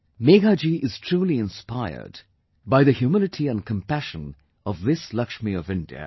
Megha Ji is truly inspired by the humility and compassion of this Lakshmi of India